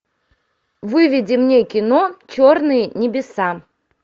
выведи мне кино черные небеса